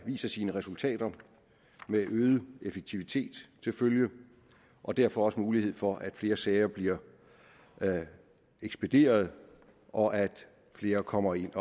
viser sine resultater med øget effektivitet til følge og derfor også mulighed for at flere sager blive ekspederet og at flere kommer ind